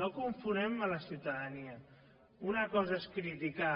no confonguem la ciutadania una cosa és criticar